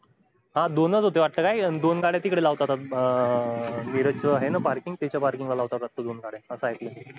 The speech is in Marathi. हा दोनच वाटत होत्या दोन गाड्या तिकड लावतात वाटत निरच आहे न parking त्याच्या parking ला लावतात दोन गाडया अस एकल